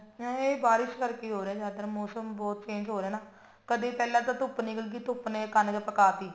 ਹਾਂ ਇਹ ਬਾਰਿਸ਼ ਕਰਕੇ ਹੀ ਹੋ ਰਿਹਾ ਜਿਆਦਾਤਰ ਮੋਸਮ ਬਹੁਤ change ਹੋ ਰਿਹਾ ਨਾ ਕਦੀ ਪਹਿਲਾਂ ਤਾਂ ਧੁੱਪ ਨਿਕਲ ਗਈ ਧੁੱਪ ਨੇ ਕਣਕ ਪਕਾ ਟੀ